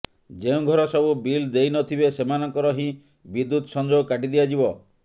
ଯେଉଁ ଘର ସବୁ ବିଲ୍ ଦେଇନଥିବେ ସେମାନଙ୍କର ହିଁ ବିଦ୍ୟୁତ ସଂଯୋଗ କାଟି ଦିଆଯିବ